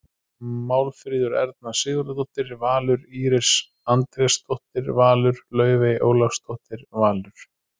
Málfríður Erna Sigurðardóttir- Valur Íris Andrésdóttir- Valur Laufey Ólafsdóttir- Valur